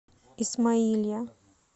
исмаилия